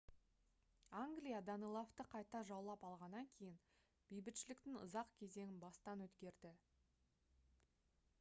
англия данелавты қайта жаулап алғаннан кейін бейбітшіліктің ұзақ кезеңін бастан өткерді